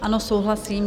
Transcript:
Ano, souhlasím.